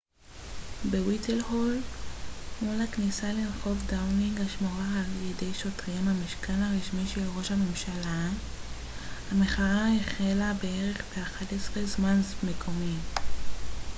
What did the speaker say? המחאה החלה בערך ב-11:00 זמן מקומי utcּ+1 בווייטהול מול הכניסה לרחוב דאונינג השמורה על ידי שוטרים המשכן הרשמי של ראש הממשלה